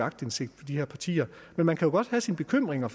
aktindsigt på de her partier men man kan godt have sine bekymringer